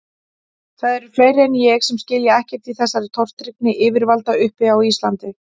Það eru fleiri en ég sem skilja ekkert í þessari tortryggni yfirvalda uppi á Íslandi.